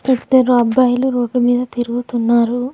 ఇద్దరు అబ్బాయిలు రోడ్డు మీద తిరుగుతున్నారు.